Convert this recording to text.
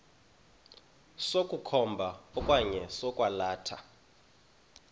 sokukhomba okanye sokwalatha